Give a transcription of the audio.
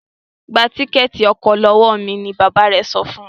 Gbà Tíkẹ́ẹ̀tì ọkọ̀ lọwọ mí! ní bàbá rẹ sọfún.